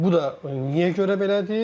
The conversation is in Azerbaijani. Bu da niyə görə belədir?